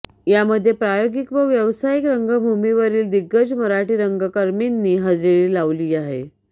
यामध्ये प्रायोगिक व व्यावसायिक रंगभूमीवरील दिग्गज मराठी रंगकर्मीनी हजेरी लावली आहे